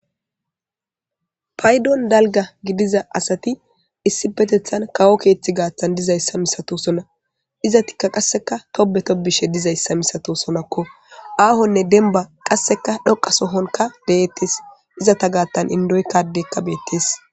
Paydon dalga gidiza asati issipetethani kawo keetha gathan dizaysa masatosona. Izetika qaseka Tobe tobishe dizaysa misatosonako. Aahone demba qaseka dhoqa sohonka detes. Izeta gatan indokko Adeyka betesi.